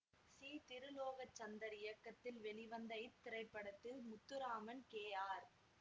C Tirulokchandar இயக்கத்தில் வெளிவந்த இத்திரைப்படத்தில் முத்துராமன் கே ஆர்